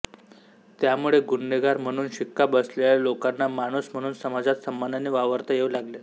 त्यामुळे गुन्हेगार म्हणून शिक्का बसलेल्या लोकांना माणूस म्हणून समाजात सन्मानाने वावरता येऊ लागले